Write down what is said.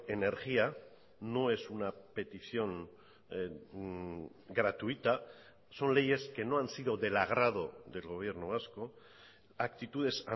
energía no es una petición gratuita son leyes que no han sido del agrado del gobierno vasco actitudes